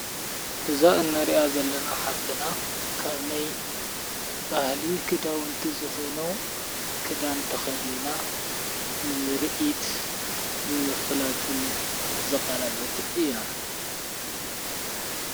እዛ እነርያ ዘለና ሃፍትና ካብነይ ባህሊዪ ክዳውንቲ ዝኾነዉ ክዳንተኸድና ንምርኢት ምፍላጥን ዝቐረበት እያ።